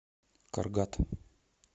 каргат